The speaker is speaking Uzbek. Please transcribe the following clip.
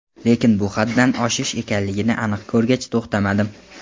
Lekin bu haddan oshish ekanligini aniq ko‘rgach, to‘xtamadim.